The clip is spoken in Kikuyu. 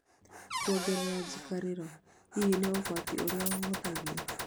kuongerera njikarĩro: hihi nĩ ugwatĩ ũria ũhũthagio